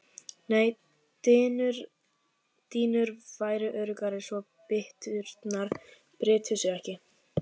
Nei dýnur væru öruggari svo bytturnar brytu sig ekki.